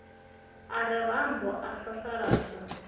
a re rambo a sasaladzwa